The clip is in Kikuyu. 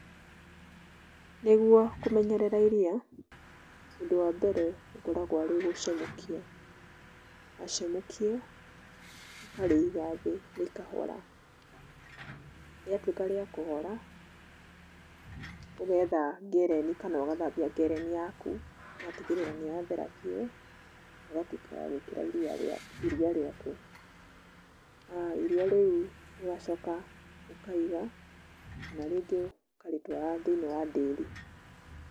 Nĩguo kũmenyerera iria, ũndũ wa mbere ũkoragũo arĩ gũcamũkia. Wacamũkia, ũkarĩiga thĩ rĩkahora. Rĩatuĩka rĩa kũhora, ũgetha ngereni kana ũgathambia ngereni yaku, ũgatigĩrĩra nĩ yathera biũ, ũgatuĩka wa gũĩkĩra iria rĩaku, iria rĩu ũgacoka ũkaiga, kana rĩngĩ ũkarĩtwara thĩinĩ wa ndĩri.